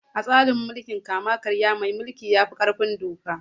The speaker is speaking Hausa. A tsarin mulkin kama karya mai mulki ya fi ƙarfin doka.